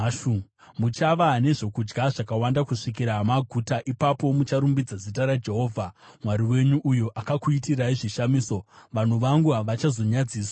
Muchava nezvokudya zvakawanda kusvikira maguta, ipapo mucharumbidza zita raJehovha Mwari wenyu, uyo akakuitirai zvishamiso; vanhu vangu havachazonyadziswi zvakare.